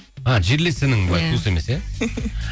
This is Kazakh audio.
а жерлес інің бе иә туыс емес иә